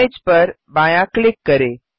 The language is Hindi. इमेज पर बाया क्लिक करें